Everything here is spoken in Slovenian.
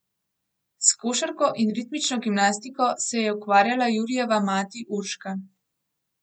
S košarko in ritmično gimnastiko se je ukvarjala Jurijeva mati Urška.